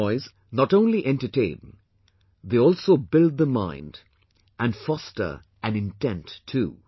Toys, not only entertain, they also build the mind and foster an intent too